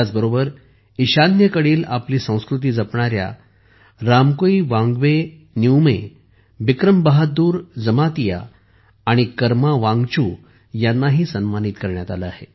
त्याचबरोबर ईशान्येकडील आपली संस्कृती जपणाऱ्या रामकुईवांगबे निउमे बिक्रम बहादूर जमातिया आणि कर्मा वांगचू यांनाही सन्मानित करण्यात आले आहे